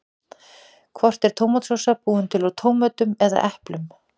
Hvort er tómatsósa búin til úr tómötum eða eplum?